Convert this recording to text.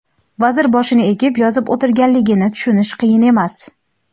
vazir boshini egib yozib o‘tirganligini tushunish qiyin emas.